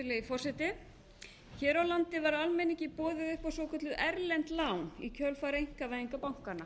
virðulegi forseti hér á landi var almenningi boðið upp á svokölluð erlend lán í kjölfar einkavæðingar bankanna